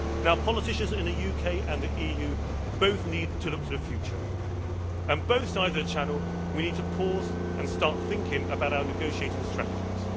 Now, politicians in the UK and the EU both need to look to the future, and on both sides of the Channel we need to pause and start thinking about our negotiating strategies.